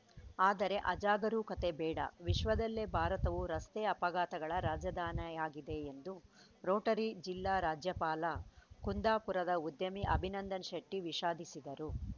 ಆದರೆ ಅಜಾಗರೂಕತೆ ಬೇಡ ವಿಶ್ವದಲ್ಲೇ ಭಾರತವು ರಸ್ತೆ ಅಪಘಾತಗಳ ರಾಜಧಾನಿಯಾಗಿದೆ ಎಂದು ರೋಟರಿ ಜಿಲ್ಲಾ ರಾಜ್ಯಪಾಲ ಕುಂದಾಪುರದ ಉದ್ಯಮಿ ಅಭಿನಂದನ ಶೆಟ್ಟಿ ವಿಷಾದಿಸಿದರು